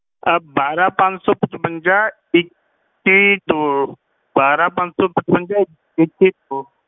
ਆਹ ਬਾਰਾਂ ਪੰਜ ਸੌ ਪਚਵੰਜਾ ਇੱਕੀ ਦੋ ਬਾਰਾਂ ਪੰਜ ਸੋ ਪਚਵੰਜਾ ਇੱਕੀ ਦੋ